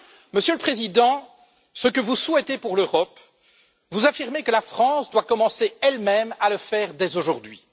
Monsieur le Président, ce que vous souhaitez pour l'Europe, vous affirmez que la France doit commencer elle même à le faire dès aujourd'hui.